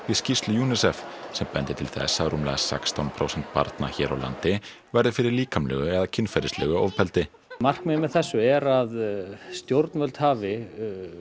við skýrslu UNICEF sem bendir til þess að rúmlega sextán prósent barna hér á landi verði fyrir líkamlegu eða kynferðislegu ofbeldi markmiðið með þessu er að stjórnvöld hafi